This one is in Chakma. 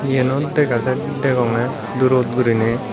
yenot dega ja degongey durot guriney.